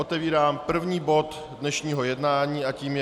Otevírám první bod dnešního jednání a tím je